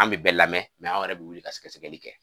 An bi bɛɛ lamɛn anw yɛrɛ bi wuli ka sɛgɛsɛgɛli kɛ.